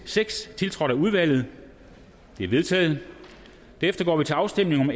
seks tiltrådt af udvalget de er vedtaget derefter går vi til afstemning om